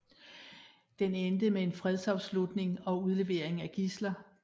Den endte med en fredsafslutning og udleveringen af gidsler